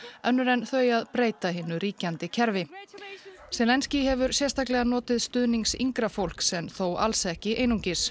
önnur en þau að breyta hinu ríkjandi kerfi zelenský hefur sérstaklega notið stuðnings yngra fólks en þó alls ekki einungis